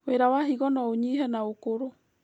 Wĩra wa higo noũnyihe na ũkũrũ